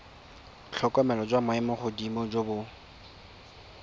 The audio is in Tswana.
tlhokomelo jwa maemogodimo jo bo